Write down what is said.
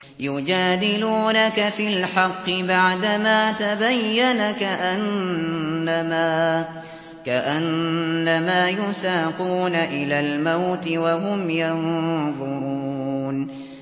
يُجَادِلُونَكَ فِي الْحَقِّ بَعْدَمَا تَبَيَّنَ كَأَنَّمَا يُسَاقُونَ إِلَى الْمَوْتِ وَهُمْ يَنظُرُونَ